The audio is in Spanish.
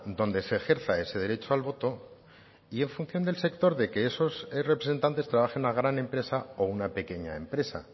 donde se ejerza ese derecho al voto y en función del sector de que esos representantes trabajen a gran empresa o una pequeña empresa